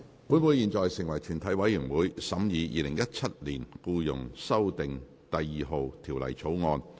本會現在成為全體委員會，審議《2017年僱傭條例草案》。